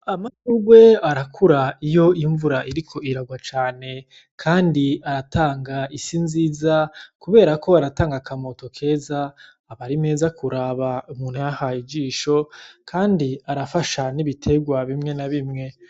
Amaurwe arakura iyo imvura iriko iragwa cane, kandi aratanga isi nziza, kubera ko baratanga akamoto keza abari meza kuraba muntuyahaye ijisho, kandi arafasha n'ibiterwa bimwe na bimwe.